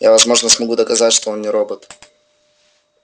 я возможно смогу доказать что он не робот